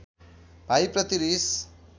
भाइ प्रति रिस